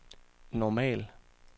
normal